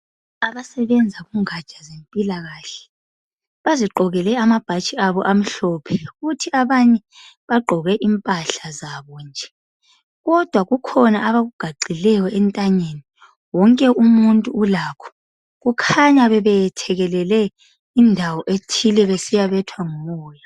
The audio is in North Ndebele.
Abasebenza kungatsha zempilakahle bazigqokele amabhatshi abo amhlophe kuthi abanye bagqoke impahla zabo nje kodwa kukhona abakugaxileyo entanyeni wonke umuntu ulakho kukhanya bebethekelele indawo ethile besiyabethwa ngumoya .